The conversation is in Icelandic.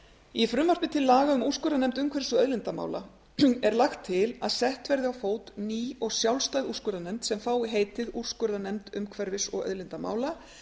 í frumvarpi til laga um úrskurðarnefnd umhverfis og auðlindamála er lagt til að sett verði á fót ný og sjálfstæð úrskurðarnefnd sem fái heitið úrskurðarnefnd umhverfis og auðlindamála